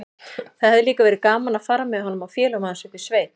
Það hefði líka verið gaman að fara með honum og félögum hans upp í sveit.